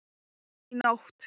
Í nótt?